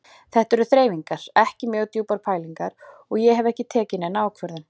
Þetta eru þreifingar, ekki mjög djúpar pælingar og ég hef ekki tekið neina ákvörðun.